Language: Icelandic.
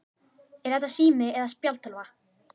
Er þetta sími eða spjaldtölva?